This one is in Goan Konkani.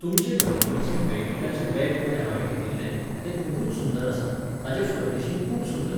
तुमचे कंपनीचें बेगिटाचें बॅग पळय हांवें घेतिल्लें, तें खुबूच सुंदर आसा, ताचें फर्निशिंग खूब सुंदर.